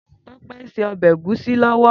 Tope n sé òbè égùsí lòwò